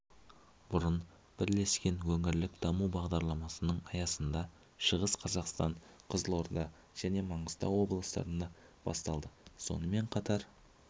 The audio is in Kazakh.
бұрын бірлескен өңірлік даму бағдарламаларының аясында шығыс қазақстан қызылорда және маңғыстау облыстарында басталды сонымен қатар